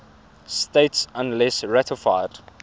states unless ratified